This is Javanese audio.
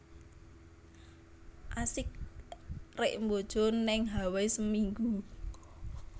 Asik rek mbojo ning Hawai seminggu